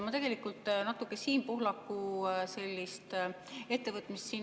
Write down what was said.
Ma tegelikult natuke jätkan Siim Pohlaku ettevõtmist.